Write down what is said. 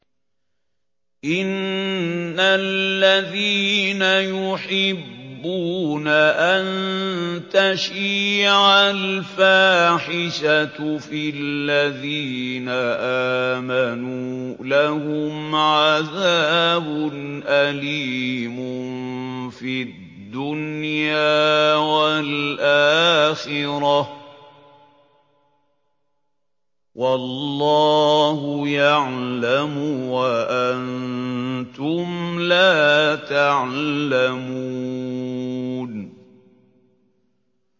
إِنَّ الَّذِينَ يُحِبُّونَ أَن تَشِيعَ الْفَاحِشَةُ فِي الَّذِينَ آمَنُوا لَهُمْ عَذَابٌ أَلِيمٌ فِي الدُّنْيَا وَالْآخِرَةِ ۚ وَاللَّهُ يَعْلَمُ وَأَنتُمْ لَا تَعْلَمُونَ